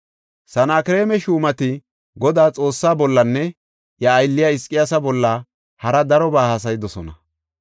Sanakreema shuumati Godaa Xoossaa bollanne iya aylliya Hizqiyaasa bolla hara darobaa haasayidosona.